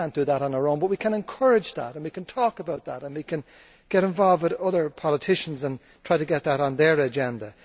We cannot do that on our own, but we can encourage that and we can talk about that and we can get involved with other politicians and try to get that on their agenda.